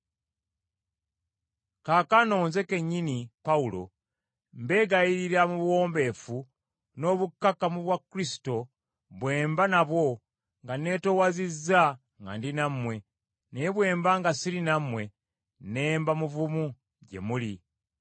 Kaakano nze kennyini, Pawulo, mbeegayirira mu buwombeefu n’obukkakkamu bwa Kristo bwe mba nabwo nga neetoowazizza nga ndi nammwe, naye bwe mba nga siri nammwe ne mba muvumu gye muli;